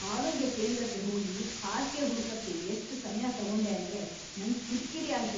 ಆರೋಗ್ಯ ಕೇಂದ್ರಕ್ಕೆ ಹೋಗಿ ಹಾಸ್ಗೆ ಹುಡ್ಕಕೆ ಎಷ್ಟ್ ಸಮ್ಯ ತಗೊಂಡೆ ಅಂದ್ರೆ ನಂಗೆ ಕಿರ್ಕಿರಿ ಆಯ್ತು.